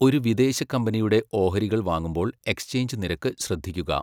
ഒരു വിദേശ കമ്പനിയുടെ ഓഹരികൾ വാങ്ങുമ്പോൾ എക്സ്ചേഞ്ച് നിരക്ക് ശ്രദ്ധിക്കുക.